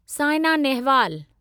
Saina Nehwal